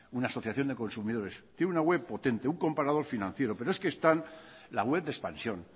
una asociación de consumidores tiene una web potente un comparador financiero pero es que están la web de expansión